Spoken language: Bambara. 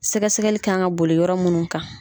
Sɛgɛsɛgɛli ka kan ka boli yɔrɔ munnu kan.